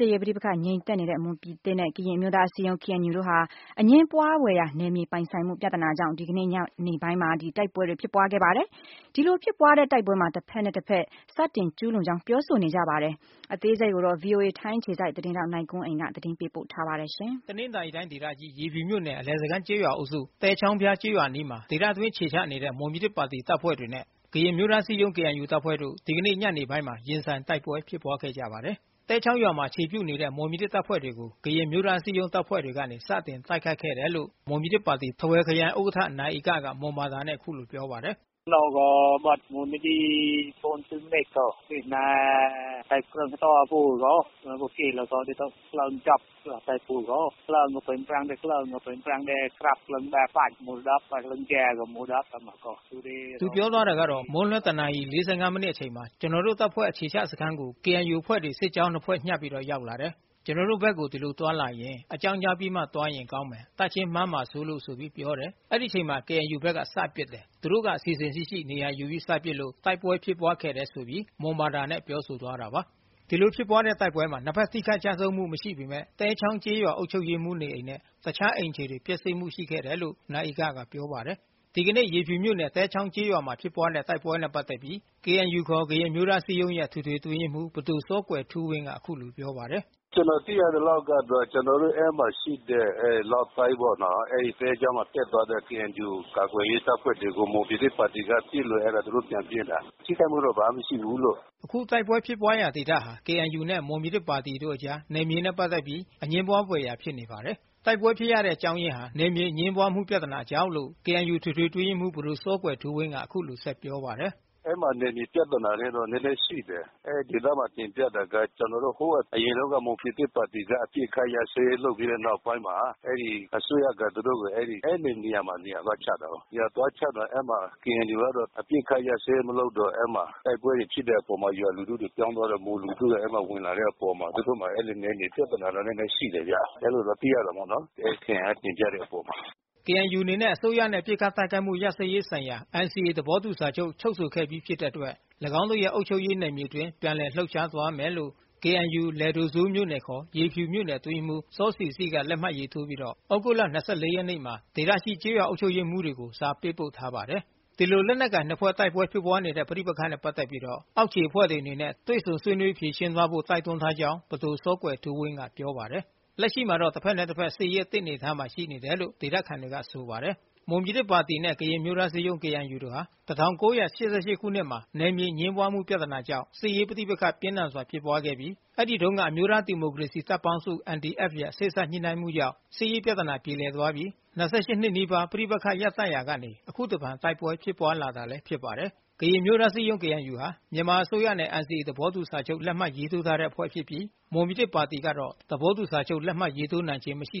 ေးပဋိပက္ခငြိမ်သက်နေတဲ့ မွန်ပြည်သစ်နဲ့ ကရင်အမျိုးသားအစည်းအရုံး တို့ဟာ အငြင်းပွါးဖွယ်ရာ နယ်မြေပိုင်ဆိုင်မှုပြဿနာကြောင့် ဒီကနေ့ညနေပိုင်းမှာ တိုက်ပွဲဖြစ်ပွါးခဲ့ပါတယ်။ ဒီလိုဖြစ်တဲ့တိုက်ပွဲမှာ တဖက်နဲ့တဖက် စတင်ကျူးလွန်ကြောင်းပြောဆိုနေကြပါတယ်။ VOA ထိုင်းအခြေစိုက်သတင်းထောက်နိုင်ကွန်းအိန်ကနေသတင်းပေးပို့ထား ပါတယ်။ တနင်္သာရီတိုင်းဒေသကြီး၊ ရေဖြူမြို့နယ် အလယ်စခန်းကျေးရွာအုပ်စု သဲချောင်းဖျားကျေးရွာအနီးမှာ ဒေသတွင်းအခြေချနေ တဲ့ မွန်ပြည်သစ်တပ်ဖွဲ့ဝင်တွေနဲ့ ကရင်အမျိုးသားအစည်းအရုံး တပ်ဖွဲ့ဝင်တို့ ဒီကနေ့ညနေပိုင်းမှာ ရင်ဆိုင်တိုက်ပွဲ ဖြစ်ပွါးခဲ့ကြပါတယ်။ သဲချောင်းရွာမှာခြေပြုနေတဲံ့မွန်ပြည်သစ်တပ်ဖွဲ့ဝင်တွေကို ကရင်အမျိုးသားအစည်းအရုံးတပ်ဖွဲ့တွေက စတင်တိုက်ခိုက်ခဲ့ တယ်လို့ ထားဝယ်ခရိုင်ဥက္ကဌနိုင်ဧကက မွန်ဘာသာနဲ့အခုလိုပြောပါတယ်။ မွန်းလွှဲ တနာရီ မိနစ်အချိန်မှာ ကျွန်တော်တို့တပ်ဖွဲ့တွေအခြေချစခမ်းကို KNUအဖွဲ့တွေ စစ်ကြောင်းနှစ်ဖွဲ့ညှပ်ပြီး ရောက် လာတယ်။ ကျွန်တော်တို့ဘက်ကို ဒီလိုသွားလာရင် အကြောင်းကြားပြီးသွားရင်ကောင်းမယ်။ တပ်ချင်းမှားမှာစိုး လို့ဆိုပြီး ပြောတယ်။ အဲဒီအချိန်မှာဘဲ KNUဘက်က စပစ်တယ်။ သူတို့ကအစီစဉ်ရှိရှိနေရာယူပြီးစပစ်လို့ တိုက်ပွဲဖြစ်ပွါး ခဲ့တယ်ဆိုပြီးမွန်ဘာသာနဲ့ပြောဆိုသွားတာပါ။ ဒီလိုဖြစ်ပွါးတဲ့တိုက်ပွဲမှာ နှစ်ဖက်ထိခိုက်ကျဆုံးမှုမရှိပေမဲ့ သဲချောင်းကျေးရွာအုပ်ချုပ်ရေးမှူးနေအိမ်နဲ့ တခြားအိမ်ခြေတွေ ပျက်စီးမှုရှိခဲ့တယ်လို့လဲ နိုင်ဧက ကပြောပါတယ်။ ဒီကနေ့ရေဖြူမြို့နယ်သဲချောင်းကျေးရွာမှာဖြစ်ပွါးခဲ့တဲ့တိုက်ပွဲနဲ့ပက်သက်ပြီး KNU အတွင်းရေးမှူးပဒိုစောကွယ်ထူးဝင်းက အခုလိုပြောပါတယ်။ “ကျနော်သိရသလောက်ကတော့ ကျနော်တို့ အဲဒီမှာရှိတဲ့ သဲချောင်းကို ဖြတ်သွားတဲ့ KNU တပ်ဖွဲ့တွေကို မွန်ပြည်သစ်ပါတီက ပစ်လို့ သူတို့ ပြန်ပစ်တာ ထိခိုက်မှုတော့ ဘာမှမရှိဘူး။” အခုတိုက်ပွဲဖြစ်ပွါးတဲ့ဒေသဟာ KNU နဲ့မွန်ပြည်သစ်ပါတီတို့အကြား နယ်မြေနဲ့ပက်သက်ပြီးအငြင်းပွါးဖွယ်ရာဖြစ်နေပါတယ်။ တိုက်ပွဲဖြစ်ပွါးတဲ့ အကြောင်းအရင်းဟာ နယ်မြေအငြင်းပွါးမှုပြဿနာကြောင့်လို့ KNU အတွင်းရေးမှူးပဒိုစောကွယ်ထူးဝင်းက အခုလိုပြောပါတယ်။ “အဲဒီမှာ နယ်မြေပြဿနာလေးတော့ နည်းနည်းရှိတယ်။ အဲဒီဒေသမှာ ကျနော်တို့ သိတာက ဟိုတုန်းက မွန်ပြည်သစ်ပါတီက အပစ်အခတ်ရပ်စဲရေးလုပ်ပြီးတဲ့နောက်ပိုင်းမှာ အစိုးရက သူတို့ကို အဲဒီနေရာမှာ နေရာသွားချတာကို ။ သွားချတော့ KNU ကတော့ အပစ်အခတ်ရပ်စဲရေးမလုပ်တော့ အဲဒီမှာ တိုက်ပွဲတွေဖြစ်တဲ့အပေါ်မှာ ပြည်သူလူထုတွေပြောင်းသွားတယ် ၊မွန်လူထုတွေ ဝင်လာတဲ့အပေါ်မှာ သူတို့ မှာ နယ်မြေပြဿနာတွေတော့ နည်းနည်းရှိတယ်ဗျ အဲလိုတော့ သိရတာပေါ့နော် အဲဒီခရိုင်က တင်ပြတဲ့အပေါ်မှာ။” KNU အနေနဲ့အစိုးရနှင့် အပစ်အခတ် တိုက်ခိုက်မှု ရပ်စဲရေးဆိုင်ရာ NCAသဘောတူစာချုပ် ချုပ်ဆိုခဲ့ပြီး ဖြစ်တဲ့အတွက် ၎င်းတို့ရဲ့ အုပ်ချုပ်ရေးနယ်မြေအတွင်း ပြန်လည်လှုပ်ရှားသွားမြယ့်ဖစ်ကြောင်း KNU လယ်ဒိုစိုးမြို့နယ် အတွင်းရေးမှူး စောဆီဆိက လက်မှတ်ရေးထိုးပြီးတော့ သြဂုတ်လ ၂၄ ရက်နေ့မှာ ဒေသရှိ ကျေးရွာအုပ်ချုပ်ရေးမှူးတွေကို စာပေးပို့ထားပါတယ်။ ဒီလိုလက်နက်ကိုင်နှစ်ဖွဲ့အကြားဖြစ်ပွါးနေတဲ့ပဋိပက္ခနဲ့ပက်သက်ပြီး အောက်ခြေအဖွဲ့တွေအနေနဲ့တွေ့ဆုံဆွေးနွေး ဖြေရှင်း သွားဖို့တိုက်တွန်းထားကြောင်း ပဒိုစောကွယ်ထူးဝင်းကပြောပါတယ်။ လက်ရှိမှာတော့ တဖက်နဲ့တဖက်စစ်ရေးအသင့်အနေအထားရှိနေကြတယ်လို့ ဒေသခံတွေကဆိုပါတယ်။ မွန်ပြည်သစ်ပါတီနဲ့ ကရင်အမျိုးသားအစည်းအရုံး တို့ဟာ ၁၉၈၈ခုနှစ်မှာ နယ်မြေမငြင်းပွါးမှုပြဿနာကြောင့် စစ်ရေး ပဋိပက္ခပြင်းထန်စွာဖြစ်ပွါးခဲ့ပြီး အဲဒီတုန်းက အမျိုးသားဒီမိုကရေစီတပ်ပေါင်းစု ရဲစေ့စပ်ညှိနှိုင်းမှုအရ စစ်ရေးပြဿနာ ပြေလည်သွားခဲ့ပြီး နီးပါးပဋိပက္ခရပ်တန့်ရာကနေ အခုတဖန်တိုက်ပွဲဖြစ်ပွါးလာတာလဲဖြစ်ပါတယ်။ ကရင်အမျိုးသားအစည်းအရုံး ဟာမြန်မာအစိုးရနဲ့ NCAသဘောတူစာချုပ်ရေးထိုးထားတဲ့အဖွဲ့ဖြစ်ပြီး မွန်ပြည်သစ် ပါတီ ကတော့ သဘောတူစာချုပ်ရေးထိုးထားခြင်းမရှိ